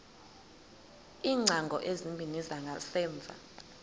iingcango ezimbini zangasemva